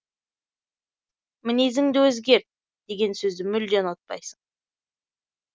мінезіңді өзгерт деген сөзді мүлде ұнатпайсың